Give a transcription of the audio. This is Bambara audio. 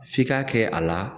F'i k'a kɛ a la